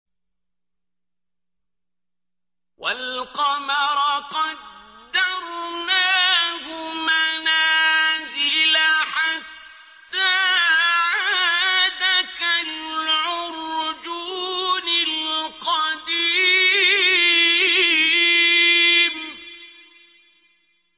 وَالْقَمَرَ قَدَّرْنَاهُ مَنَازِلَ حَتَّىٰ عَادَ كَالْعُرْجُونِ الْقَدِيمِ